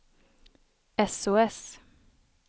sos